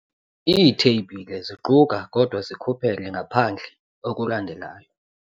Iitheyibhile ziquka kodwa zikhuphele ngaphandle okulandelayo.